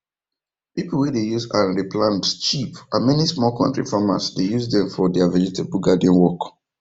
pipu wey dey use hand re plant cheap and many small kontri farmers dey use dem for deirr vegetable garden work